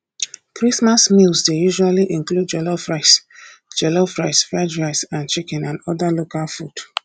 christmas meals dey usally include jollof rice jollof rice fried rice and chicken and oda local food